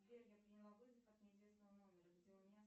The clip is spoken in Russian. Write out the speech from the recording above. сбер я приняла вызов от неизвестного номера где у меня